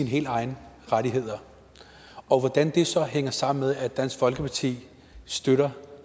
helt egne rettigheder og hvordan det så hænger sammen med at dansk folkeparti støtter